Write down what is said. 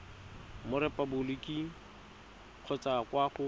mo repaboliking kgotsa kwa go